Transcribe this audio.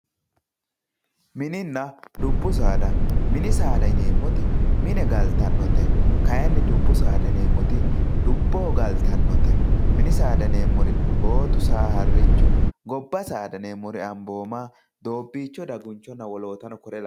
Mininna dubbu saada minni saada yinemoti mine galitanotte kayinni dubbu saada yinemoti dubboho galitanotte minni saada yinemori bottu saa harichu gibba saada yinemori abomma dobicho dagunchonna wolotano kore lawanoreti